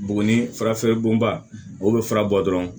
Buguni fura feere bonba o bɛ fura bɔ dɔrɔn